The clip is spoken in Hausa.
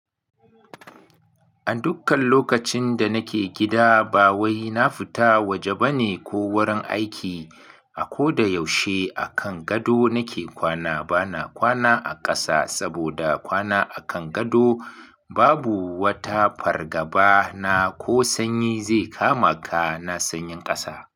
A dukkan lokacin da nake gida ba wai na fita waje bane ko wurin aiki. A ko da yaushe akan gado nake kwana. Bana kwana a ƙasa saboda kwana akan gado babu wata fargaba na ko sanyi zai kama ka na sanyin ƙasa.